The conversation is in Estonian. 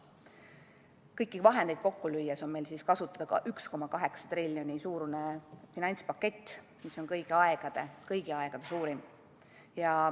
Kõiki vahendeid kokku lüües on meil kasutada 1,8 triljoni euro suurune finantspakett, mis on kõigi aegade suurim.